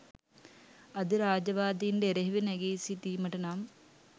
අධිරාජ්‍යවාදීන්ට එරෙහිව නැඟී සිටීමට නම්